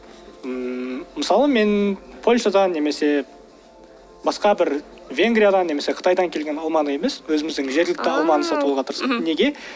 ммм мысалы мен польшадан немесе басқа бір венгриядан немесе қытайдан келген алманы емес өзіміздің жергілікті алманы сатып алуға тырысамын неге